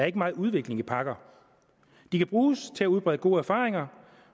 ikke megen udvikling i pakker de kan bruges til at udbrede gode erfaringer